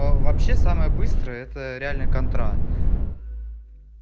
вообще самая быстрая это реально контра